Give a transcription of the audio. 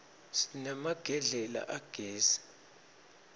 sinemagedlela agezi